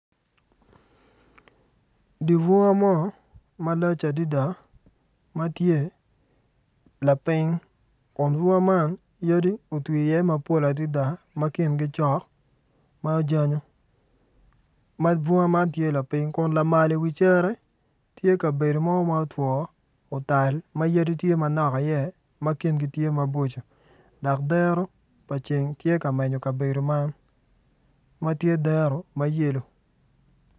Dibwunga mo malac adida ma tye laping kun bunga man yadi otwi iye mapol adida ma kingi cok ma ojanyo ma bunga man tye laping kun lamal i wi cere tye kabedo mo ma otwo otal ma yadi tye manok iye ma kingi tye maboco dok dero pa ceng tye ka menyo kabedo man ma tye dero mayelo